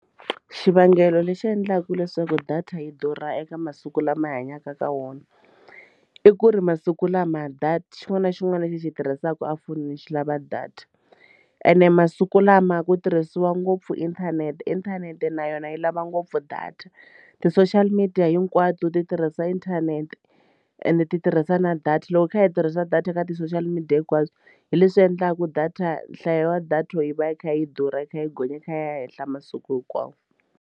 Xivangelo lexi endlaka leswaku data yi durha eka masiku lama hi hanyaka ka wona i ku ri masiku lama data xin'wana na xin'wana lexi hi xi hi tirhisaka efonini xi lava data ene masiku lama ku tirhisiwa ngopfu inthanete, inthanete na yona yi lava ngopfu data ti-social media hinkwato ti tirhisa inthanete ende ti tirhisa na data loko hi kha hi tirhisa data ka ti-social media hinkwaswo hi leswi endlaku data nhlayo wa data yi va yi kha yi durha yi kha yi gonya yi kha yi ya henhla masiku hinkwawo.